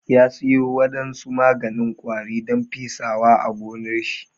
Ya siyo wadansu maganin ƙwari don pesawa a gonnar shi